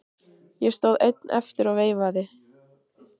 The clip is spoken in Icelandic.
Ég stóð einn eftir og veifaði.